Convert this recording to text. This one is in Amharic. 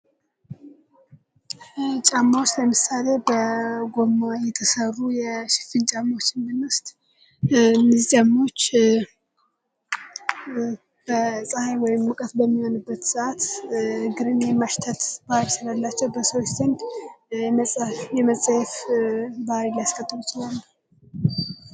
ጫማዎች፡- ለምሳሌ በጎማ የተሰሩ ሽፍን ጫማዎችን ብንወስድ እነዚህ ጫማዎች ፀሐይ ወይም ሙቀት በሚሆንበት ሰዓት እግርን የማሽተት ባህሪ ስላላቸው በሰዎች በዘንድ የመፀየፍ ባህሪ ሊያስከትሉ ይችላሉ።